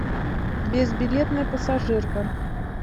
безбилетная пассажирка